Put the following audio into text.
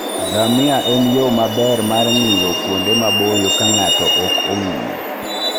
Ngamia en yo maber mar ng'iyo kuonde maboyo ka ng'ato ok ong'iyo.